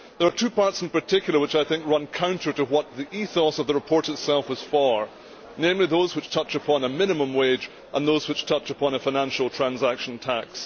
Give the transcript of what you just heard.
There are two parts in particular which I think run counter to what the ethos of the report itself was for, namely those which touch upon a minimum wage and those which touch upon a financial transaction tax.